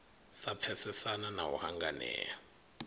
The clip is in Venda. sa pfesesana na u hanganea